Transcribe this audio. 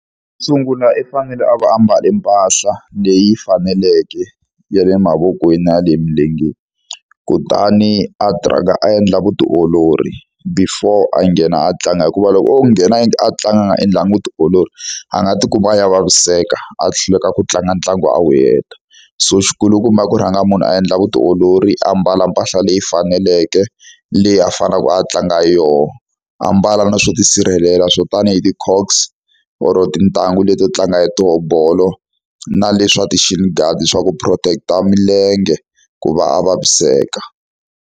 Sungula i fanele a va ambale mpahla leyi faneleke ya le mavokweni ya le emilengeni. Kutani a a endla vutiolori before a nghena a tlanga, hikuva loko o nghena a tlanganga endlanga vutiolori a nga tikuma a ya vaviseka, a hluleka ku tlanga ntlangu a wu heta. So xikulukumba i ku rhanga munhu a endla vutiolori a mbala mpahla leyi faneleke, leyi a faneleke a tlanga yona, a mbala na swo tisirhelela swo tanihi ti-cocks or tintangu leti to tlanga hi tona bolo, na leswa ti-shield guide swa ku protect-a milenge ku va a vaviseka.